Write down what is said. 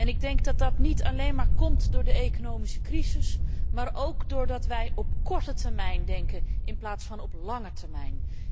Ik denk dat dat niet alleen maar komt door de economische crisis, maar ook doordat wij op korte termijn denken in plaats van op lange termijn.